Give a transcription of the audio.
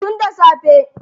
Tun da safe.